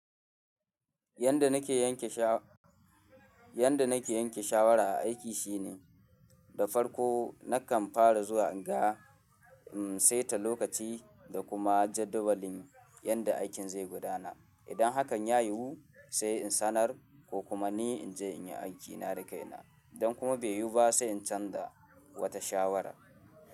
Yanda nake yanke sha yanda nake yanke shawara a aiki shine, da farko nakan fara zuwa in ga, in saita lokaci da kuma jadawalin yadda aikin zai gudana. Idan hakan ya yiwu sai in sanar ko kuma ni in je in yi aikina da kaina. Don kuma bai yiwu ba sai in canza wata shawara.